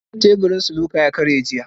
Teburin snooker ta karye jiya.